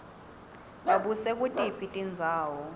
babuse kutiphi tindzawo